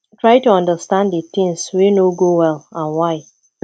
try to understans di thing wey no go well and why